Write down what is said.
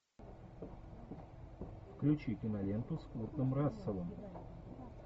включи киноленту с куртом расселом